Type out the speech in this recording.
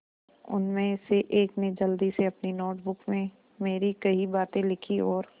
उनमें से एक ने जल्दी से अपनी नोट बुक में मेरी कही बातें लिखीं और